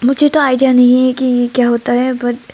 मुझे तो आईडिया नहीं है कि यह क्या होता है बट --